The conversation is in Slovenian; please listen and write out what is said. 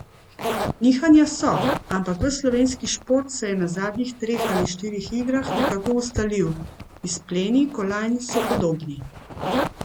Nihanja so, ampak ves slovenski šport se je na zadnjih treh ali štirih igrah nekako ustalil, izpleni kolajn so podobni.